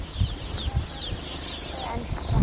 Og enn spretta fram ný.